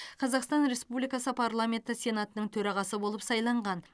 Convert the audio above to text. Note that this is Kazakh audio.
қазақстан республикасы парламенті сенатының төрағасы болып сайланған